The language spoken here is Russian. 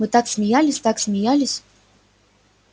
мы так смеялись так смеялись